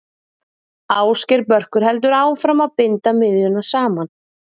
Ásgeir Börkur heldur áfram að binda miðjuna saman.